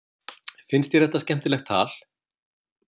Finnst þér þetta skemmtilegt tal?